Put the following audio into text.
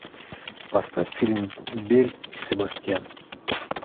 поставь фильм белль и себастьян